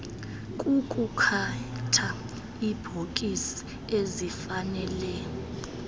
kukukhetha iibhokisi ezifanele